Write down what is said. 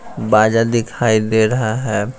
बाजार दिखाई दे रहा है।